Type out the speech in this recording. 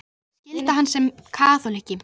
Það væri skylda hans sem kaþólikka.